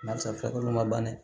Barisa farikolo ma ban dɛ